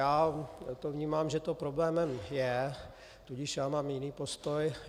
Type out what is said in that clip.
Já to vnímám, že to problémem je, tudíž já mám jiný postoj.